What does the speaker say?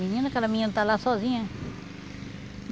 Menina, aquela menina está lá sozinha.